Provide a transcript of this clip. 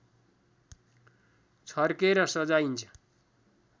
छर्केर सजाइन्छ